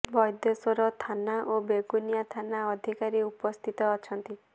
ବୈଦେଶ୍ୱର ଥାନା ଓ ବେଗୁନିଆ ଥାନା ଅଧିକାରୀ ଉପସ୍ଥିତ ଅଛନ୍ତି